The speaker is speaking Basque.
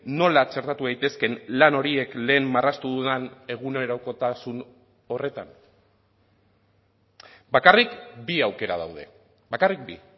nola txertatu daitezkeen lan horiek lehen marraztu dudan egunerokotasun horretan bakarrik bi aukera daude bakarrik bi